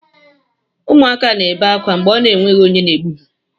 Ụmụaka na ebe akwa mgbe ọ na enweghị onye na ebu ha.